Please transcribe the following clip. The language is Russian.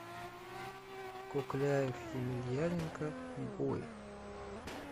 кукляев емельяненко бой